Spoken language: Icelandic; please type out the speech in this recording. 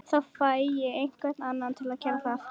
Þá fæ ég einhvern annan til að gera það